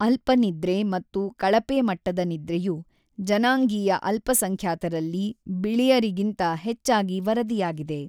ಅಲ್ಪ ನಿದ್ರೆ ಮತ್ತು ಕಳಪೆಮಟ್ಟದ ನಿದ್ರೆಯು ಜನಾಂಗೀಯ ಅಲ್ಪಸಂಖ್ಯಾತರಲ್ಲಿ ಬಿಳಿಯರಿಗಿಂತ ಹೆಚ್ಚಾಗಿ ವರದಿಯಾಗಿದೆ.